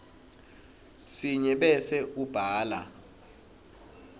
sinye bese ubhala